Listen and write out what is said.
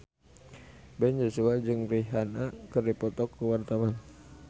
Ben Joshua jeung Rihanna keur dipoto ku wartawan